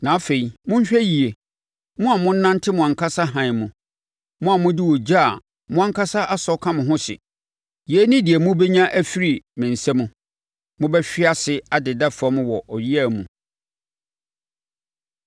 Na afei, monhwɛ yie, mo a monante mo ankasa hann mu, mo a mode ogya a mo ankasa asɔ ka mo ho hye, Yei ne deɛ mobɛnya afiri me nsa mu; mobɛhwe ase adeda fam wɔ ɔyea mu.